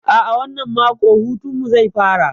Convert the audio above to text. A'a, wannan mako hutun mu zai fara.